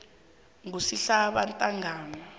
kusihlabantangana